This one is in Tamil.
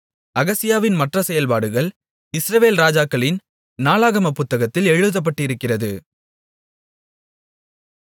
அகசியாவின் மற்ற செயல்பாடுகள் இஸ்ரவேல் ராஜாக்களின் நாளாகமப் புத்தகத்தில் எழுதப்பட்டிருக்கிறது